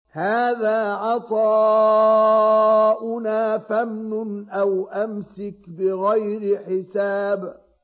هَٰذَا عَطَاؤُنَا فَامْنُنْ أَوْ أَمْسِكْ بِغَيْرِ حِسَابٍ